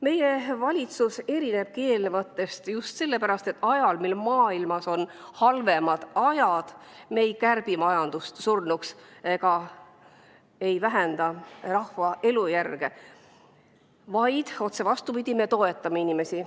Meie valitsus erinebki eelnevatest just sellepärast, et ajal, mil maailmas on halvemad ajad, me ei kärbi majandust surnuks ega vähenda rahva elujärge, vaid, otse vastupidi, toetame inimesi.